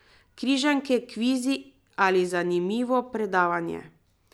Križanke, kvizi ali zanimivo predavanje.